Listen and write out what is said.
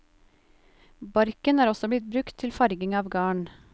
Barken er også blitt brukt til farging av garn.